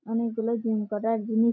অনেকগুলো জিম করার জিনি--